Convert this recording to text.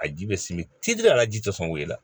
A ji bɛ simi ci la a la ji tɛ sɔn wuli la